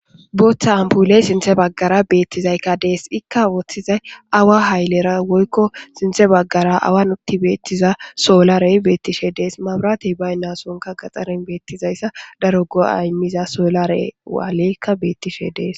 booththa ampuley sinthe baggara beettizaykka dees ikka wooththizay awa haylera woykko sinthe baggara awa nutti beettiza soolarey beettishe dees mabratey baynnasonka gaxaren beettizayssa daro go7aymiza soolare waaleykka beettishe dees